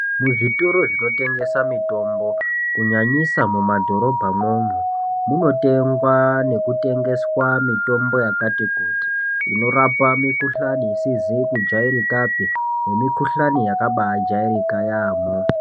Muzvitoro zvinotengesa mutombo kunyanyisa mumadhorobha mwoumwo munotengwa nekutengesa mitombo yakati kuti inorapa mikuhlani isizi kujairikapi nemikuhlani yakabaajairika yaamho.